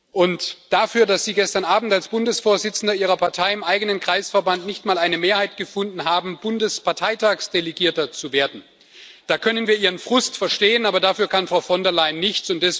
Und da Sie gestern Abend als Bundesvorsitzender Ihrer Partei im eigenen Kreisverband nicht mal eine Mehrheit gefunden haben, Bundesparteitagsdelegierter zu werden, können wir Ihren Frust verstehen, aber dafür kann Frau von der Leyen nichts.